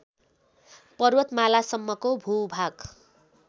पर्वतमालासम्मको भूभाग